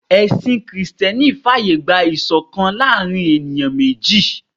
Ẹ̀sìn Kristẹni fàyè gba ìṣọ̀kan láàárín ènìyàn méjì